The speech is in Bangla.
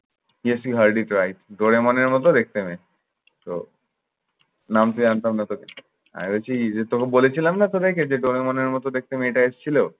yes she hardly bright ডরিমনের মতো দেখতে মেয়েটা। তো নামতে জানতাম না তোকে। আমি ভেবেছি যে তোকে বলেছিলাম না তোদেরকে যে ডরিমনের মতো দেখতে মেয়েটা এসেছিল